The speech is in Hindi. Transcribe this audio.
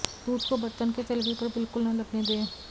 दूध को बर्तन के तलवे पर बिल्कुल न लगने दें